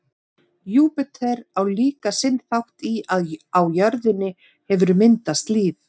júpíter á líka sinn þátt í að á jörðinni hefur myndast líf